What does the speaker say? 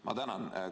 Ma tänan!